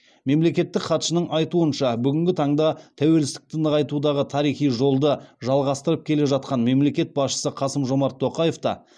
мемлекеттік хатшының айтуынша бүгінгі таңда тәуелсіздікті нығайтудағы тарихи жолды жалғастырып келе жатқан мемлекет басшысы қасым жомарт тоқаев та